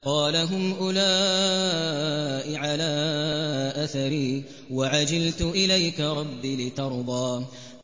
قَالَ هُمْ أُولَاءِ عَلَىٰ أَثَرِي وَعَجِلْتُ إِلَيْكَ رَبِّ لِتَرْضَىٰ